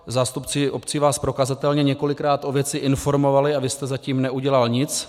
Zástupci obcí vás prokazatelně několikrát o věci informovali a vy jste zatím neudělal nic.